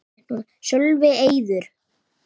Sölvi: Eiður?